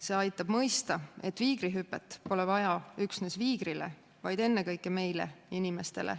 See aitab mõista, et tiigrihüpet pole vaja üksnes viigrile, vaid ennekõike meile, inimestele.